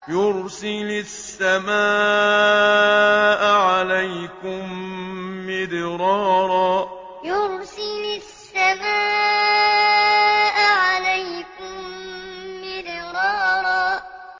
يُرْسِلِ السَّمَاءَ عَلَيْكُم مِّدْرَارًا يُرْسِلِ السَّمَاءَ عَلَيْكُم مِّدْرَارًا